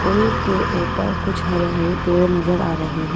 पुल के ऊपर कुछ हरे-हरे पेड़ नजर आ रहे हैं।